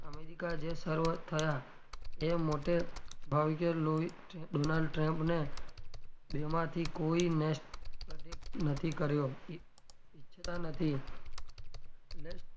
america જે શરુઆત થયા એ મોટે ભાગે donald trump ને બેમાંથી કોઈને protect નથી કર્યો ઈ ઈચ્છતાં નથી એટલે,